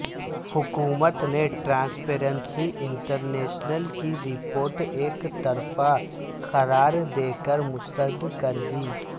حکومت نے Transparency International کی رپورٹ یکطرفہ قرار دے کر مسترد کر دی